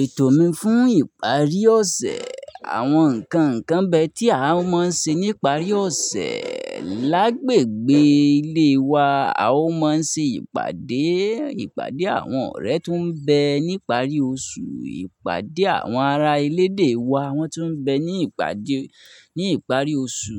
Ètò mi fún ìparí ọ̀sẹ̀, àwọn nǹkan ǹkan bẹ́ tí a máa ń ṣe níparí ọ̀sẹ̀, lágbègbè ilé wa, a máa ń ṣe ìpàdé, ìpàdé àwọn ọ̀rẹ́ tó ń bẹ níparí oṣù, ìpàdé àwọn ará elédè wa, wọ́n tun bẹ ní ìparí oṣù.